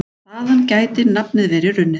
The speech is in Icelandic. Þaðan gæti nafnið verið runnið.